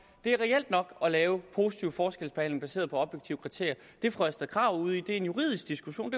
er reelt nok at lave positiv forskelsbehandling baseret på objektive kriterier det fru astrid krag er ude i er en juridisk diskussion